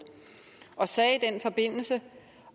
og sagde i den forbindelse